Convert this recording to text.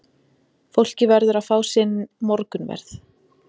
Fólkið verður að fá sinn morgunverð.